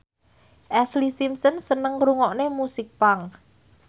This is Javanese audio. Ashlee Simpson seneng ngrungokne musik punk